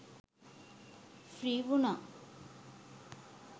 Free වුනා.